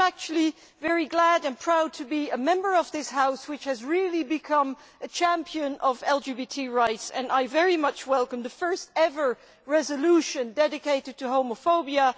I am actually very glad and proud to be a member of this House, which has really become a champion of LGBT rights, and I very much welcome the first ever resolution dedicated to homophobia.